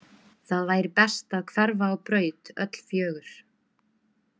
Það væri best að hverfa á braut öll fjögur.